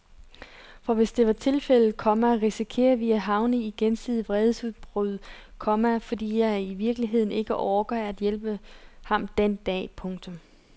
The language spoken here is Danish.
For hvis det er tilfældet, komma risikerer vi at havne i gensidige vredesudbrud, komma fordi jeg i virkeligheden ikke orker at hjælpe ham den dag. punktum